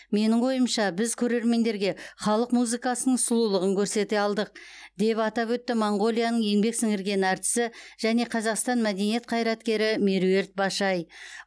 менің ойымша біз көрермендерге халық музыкасының сұлулығын көрсете алдық деп атап өтті моңғолияның еңбек сіңірген әртісі және қазақстан мәдениет қайраткері меруерт башай